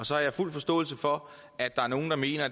og så har jeg fuld forståelse for at der er nogle der mener